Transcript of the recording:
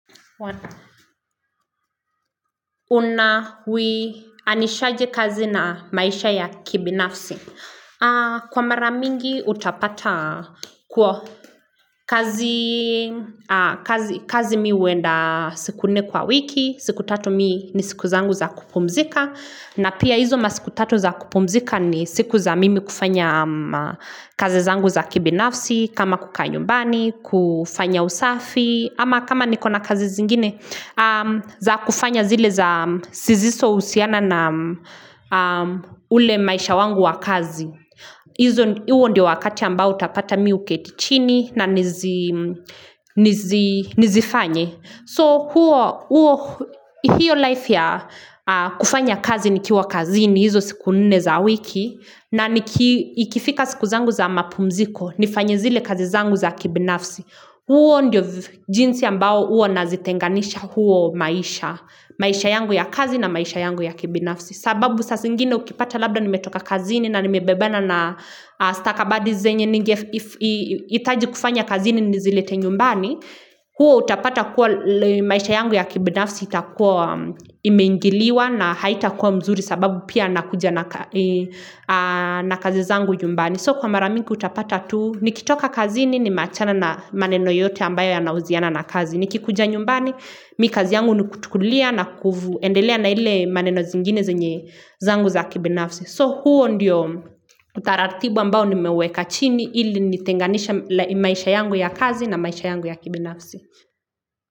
Unawinishaje kazi na maisha ya kibinafsi? Kwa mara mingi utapata kwa kazi mi uwenda siku nne kwa wiki, siku tatu mimi ni siku zangu za kupumzika na pia hizo masiku tatu za kupumzika ni siku za mimi kufanya kazi zangu za kibinafsi kama kukaa nyumbani, kufanya usafi ama kama niko na kazi zingine za kufanya zile za sizisousiana na ule maisha wangu wa kazi. Huo wakati ambao utapata mimi uketi chini nanizifanye. So huo, huo, hiyo life ya kufanya kazi nikiwa kazini hizo siku nne za wiki. Na ikifika siku zangu za mapumziko, nifanye zile kazi zangu za kibinafsi. Huo ndiyo jinsi ambao huo nazitenganisha huo maisha. Maisha yangu ya kazi na maisha yangu ya kibinafsi. Sababu saa zingine ukipata labda nimetoka kazini na nimebebana na stakabadhi zenyehitaji kufanya kazini nizilete nyumbani huo utapata kuwa maisha yangu ya kibinafsi itakuwa imingiliwa na haita kuwa mzuri sababu pia nakuja na kazi zangu nyumbani. So kwa mara mingi utapata tuu, nikitoka kazi ni ni machana na maneno yote ambayo ya nauziana na kazi. Nikikuja nyumbani, mimi kazi yangu nikutukulia na kuendelea na ile maneno zingine zenye zangu za kibinafsi. So huo ndiyo utaratibu ambao ni meweka chini ili nitenganisha maisha yangu ya kazi na maisha yangu ya kibinafsi.